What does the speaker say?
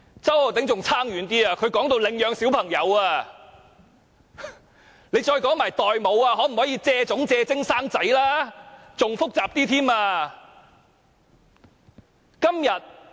周議員說得更遠，他說到領養小朋友，不如再談論代母問題、可否"借種"、"借精"產子吧，那便可以令事情更加複雜。